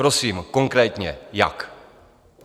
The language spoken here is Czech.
Prosím konkrétně, jak?